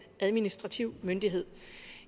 administrativ myndighed